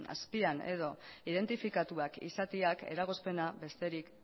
azpian edo identifikatuak izateak eragozpena besterik